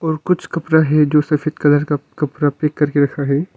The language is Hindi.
और कुछ कपड़ा है जो सफेद कलर का कपरा पैक करके रखा है।